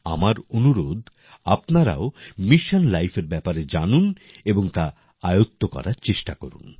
আমার অনুরোধ আপনারাও মিশন Lifeএর ব্যাপারে জানুন এবং তা আয়ত্ত করার চেষ্টা করুন